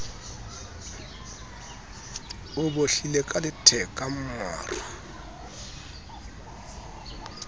o bohlile ka letheka maru